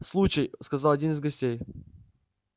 случай сказал один из гостей